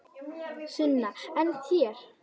Sunna: En þér?